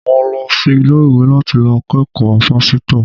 Mo lo sí ilé-iwé láti lo kékòó pásítò